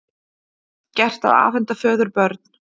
Gert að afhenda föður börn